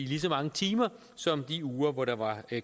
lige så mange timer som de uger hvor der var